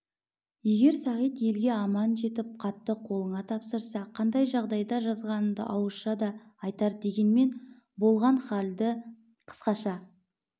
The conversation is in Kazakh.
егер сағит елге аман жетіп хатты қолыңа тапсырса қандай жағдайда жазғанымды ауызша да айтар дегенмен болған халды қысқаша